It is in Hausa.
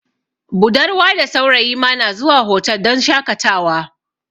Budarwa da saurayi ma na zuwa hotal don shakatawa